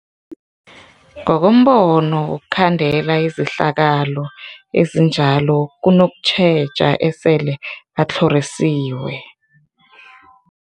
Ngokombono wokhandela izehlakalo ezinjalo kunokutjheja esele batlhorisiwe.